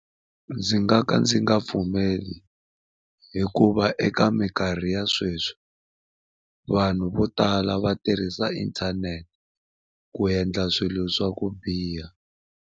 Ndzi nga ka ndzi nga pfumeli hikuva eka minkarhi ya sweswi vanhu vo tala va tirhisa inthanete ku endla swilo swa ku biha.